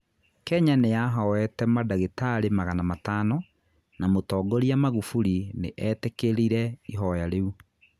Kenya nĩ yahoete mandagĩtarĩ magana matano na Mũtongoria Magufuli nĩ eetĩkĩrire ihoya rĩu.